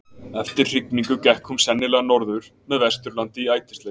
eftir hrygningu gekk hún sennilega norður með vesturlandi í ætisleit